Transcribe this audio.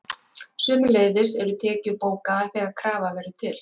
Sömuleiðis eru tekjur bókaðar þegar krafa verður til.